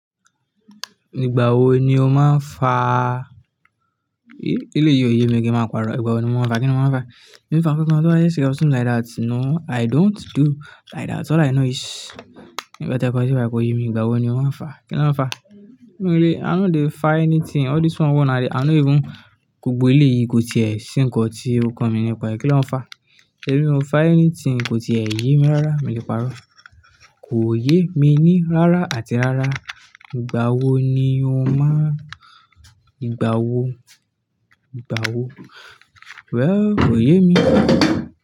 Ìgbà wo ni o máa ń fa? Eleyìí ò yé mi kí n máa parọ́. Nígbà wo ni mo máa ń fa? Kí ni mo máa ń fa? Mi n fa nǹkankan, something like that you know, i don't do like that. All i know is nǹkan tí ẹ kọ síbi báyìí kọ yé mi. Nígbà wo ni o máa ń fa? Kí na ń fa? I mean, i no dey fa anything. All this one, i no even-- gbogbo elé yìí kò ti è ṣí nǹkan tí ó kan mi nìpa ẹ. Kí na ń fa? Mi ò fa anything. Kò ti è yé mi rárá. Mi ò lè parọ́. Kò yé mi ní rárá àti rárá. Nígbà wo ni o máa-- nígbà wo? Nígbà wo? Well, kò yé mi.